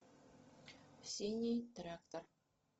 синий трактор